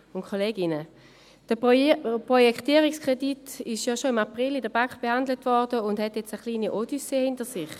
Der Projektierungskredit wurde bereits im April in der BaK behandelt und hat nun eine kleine Odyssee hinter sich: